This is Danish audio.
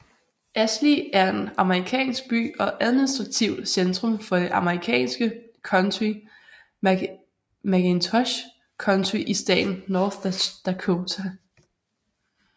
Ashley er en amerikansk by og administrativt centrum for det amerikanske county McIntosh County i staten North Dakota